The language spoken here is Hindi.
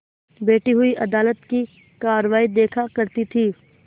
बैठी हुई अदालत की कारवाई देखा करती थी